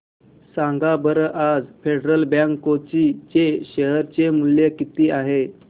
सांगा बरं आज फेडरल बँक कोची चे शेअर चे मूल्य किती आहे